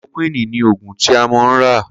Klórókwìní ni ógún ti mó n rà